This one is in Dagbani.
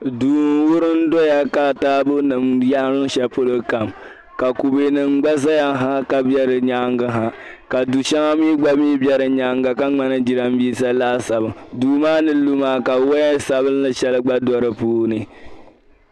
Duu nwurim doya. ka taabɔnim yarim shalipolokam. ka kube nim gba zayaha. Kabe di nyaaŋgiha. kadu shɛŋa mi gba. mi be di nyaaŋga ka ŋmani jiranbisa laasabu. duu maa nilumaa kawaya sabinli shɛli gba do dipuuni.